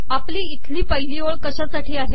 आपली इथली पिहली ओळ कशासाठी आहे